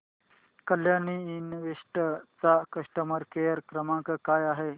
Kalyani invest चा customer care क्रमांक काय आहे